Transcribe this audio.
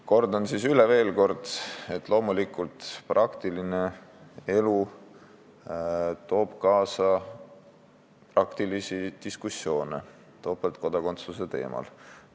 Kordan siis veel kord, et loomulikult praktiline elu toob kaasa diskussioone topeltkodakondsuse teemal.